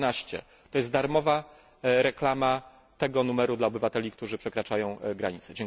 112. To jest darmowa reklama tego numeru dla obywateli, którzy przekraczają granice.